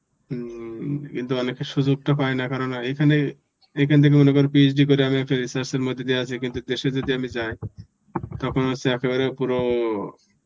হম কিন্তু অনেকে সুযোগটা পায় না. কেননা এখানে এখান থেকে মনে করো PhD করে আমি একটা research এর মধ্যে দিয়ে আসি কিন্তু দেশে যদি আমি যাই তখন হচ্ছে একেবারে পুরো